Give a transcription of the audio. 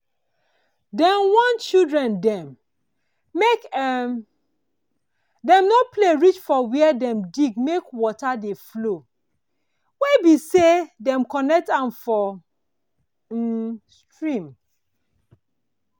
dem warn children dem make um dem no play reach for where dem dig make water dey flow wey bi say dem connect am for um stream